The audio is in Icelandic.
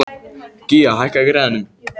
Gía, hækkaðu í græjunum.